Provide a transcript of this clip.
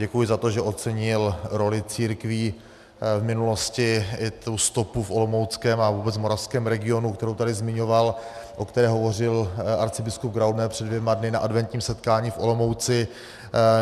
Děkuji za to, že ocenil roli církví v minulosti i tu stopu v olomouckém a vůbec moravském regionu, kterou tady zmiňoval, o které hovořil arcibiskup Graubner před dvěma dny na adventním setkání v Olomouci.